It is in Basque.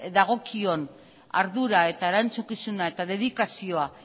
dagokion ardura erantzukizuna eta dedikazioa